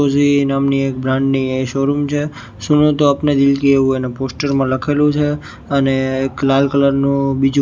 Uzi નામની એક brand ની એ શોરૂમ છે સૂનો તો અપને દિલકી એવુ એના પોસ્ટર મા લખેલુ છે અને એક લાલ કલર નુ બીજુ--